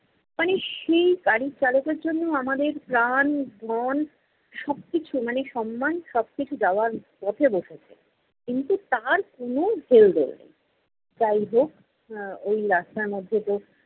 মানে সেই গাড়ির চালকের জন্য আমাদের প্রাণ, ধন সবকিছু মানে সম্মান সবকিছু যাওয়ার পথে বসেছে কিন্তু তার কোনো হেল্দোল নেই। যাই হোক এর ঐ রাস্তার মধ্যে তো